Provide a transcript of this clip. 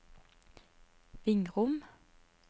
Vingrom